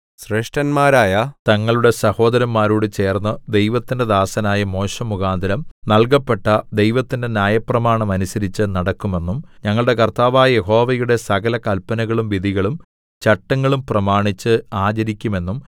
ശ്രേഷ്ഠന്മാരായ തങ്ങളുടെ സഹോദരന്മാരോട് ചേർന്ന് ദൈവത്തിന്റെ ദാസനായ മോശെമുഖാന്തരം നല്കപ്പെട്ട ദൈവത്തിന്റെ ന്യായപ്രമാണം അനുസരിച്ച് നടക്കുമെന്നും ഞങ്ങളുടെ കർത്താവായ യഹോവയുടെ സകല കല്പനകളും വിധികളും ചട്ടങ്ങളും പ്രമാണിച്ച് ആചരിക്കുമെന്നും